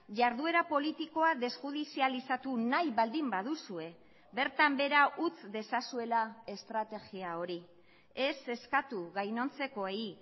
jarduera politikoa desjudizializatu nahi baldin baduzue bertan behera utz dezazuela estrategia hori ez eskatu gainontzekoei